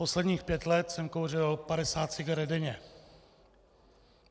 Posledních pět let jsem kouřil 50 cigaret denně.